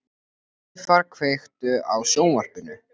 Laufar, kveiktu á sjónvarpinu.